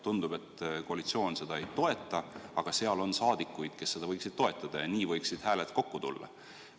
Tundub, et koalitsioon seda ei toeta, aga seal on saadikuid, kes seda võiksid toetada, ja nii võiksid hääled kokku tulla.